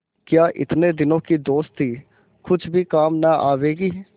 क्या इतने दिनों की दोस्ती कुछ भी काम न आवेगी